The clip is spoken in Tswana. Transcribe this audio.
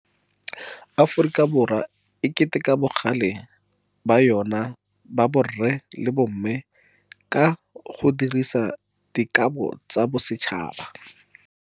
Aforika Borwa e keteka bagale ba yona ba borre le ba bomme ka go dirisa Dikabo tsa Bosetšhaba.